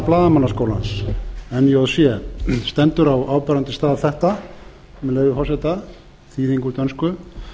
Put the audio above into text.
blaðamannaskólans njc stendur þetta á áberandi stað með leyfi forseta þýðing úr dönsku